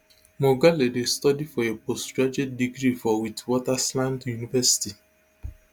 mogale dey study for a postgraduate degree for witwatersrand university